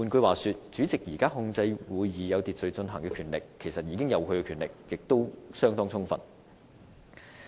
換言之，主席現時控制會議有秩序進行的權力已經相當充分。